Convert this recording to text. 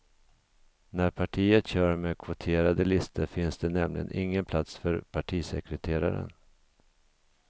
När partiet kör med kvoterade listor finns det nämligen ingen plats för partisekreteraren.